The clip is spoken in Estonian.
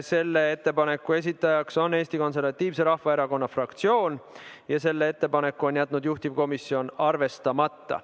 Selle ettepaneku esitaja on Eesti Konservatiivse Rahvaerakonna fraktsioon ja selle ettepaneku on juhtivkomisjon jätnud arvestamata.